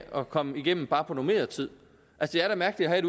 at komme igennem bare på normeret tid det er da mærkeligt at